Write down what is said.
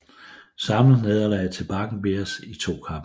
Samlet nederlag til Bakken Bears i 2 kampe